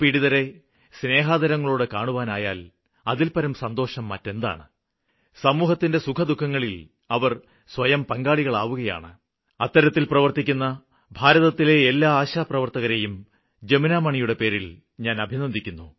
രോഗപീഡിതരെ സ്നേഹാദരങ്ങളോടെ കാണുവാനായാല് അതില്പ്പരം സന്തോഷം മറ്റെന്താണ് സമൂഹത്തിന്റെ സുഖദുഖങ്ങളില് അവര് സ്വയം പങ്കാളികളാവുകയാണ് അത്തരത്തില് പ്രവര്ത്തിക്കുന്ന ഭാരതത്തിലെ എല്ലാ ആശാപ്രവര്ത്തകരെയും ജമുനാമണിയുടെ പേരില് ഞാന് അഭിനന്ദിക്കുന്നു